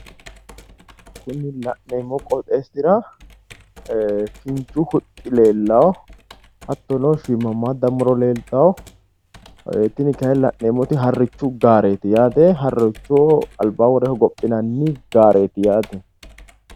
Kuni laneemmo qooxeessira ee kinchu huxxi leellawo hattono shiimmammaadda muro leeltawo tini kayi laneemmoti harrichu gaareeti yaate harrichoho albaa worre hogophinanni gaareeti yaate.